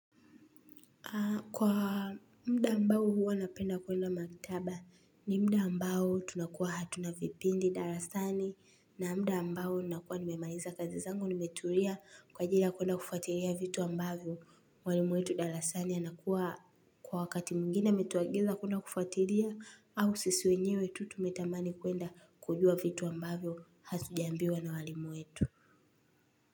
Kwa muda ambao huwa napenda kuenda maktaba ni muda ambao tunakuwa hatuna vipindi darasani na muda ambao nakuwa nimemaniza kazi zangu nimetulia kwa ajili ya kuenda kufuatilia vitu ambavyo mwalimu wetu darasani anakuwa kwa wakati mwingine ametuagiza kuenda kufuatilia au sisi wenyewe tu tumetamani kuenda kujua vitu ambavyo hatujaambiwa na walimu wetu.